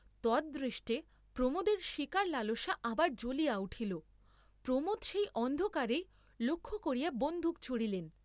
তদ্দৃষ্টে প্রমোদের শীকার লালসা আবার জ্বলিয়া উঠিল, প্রমোদ সেই অন্ধকারেই লক্ষ্য করিয়া বন্দুক ছুঁড়িলেন।